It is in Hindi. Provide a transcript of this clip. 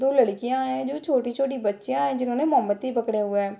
दो लड़कियां है जो छोटी-छोटी बच्चियां है जिन्होंने मोमबतियां पकड़े हुए है।